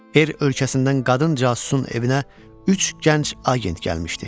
R ölkəsindən qadın casusun evinə üç gənc agent gəlmişdi.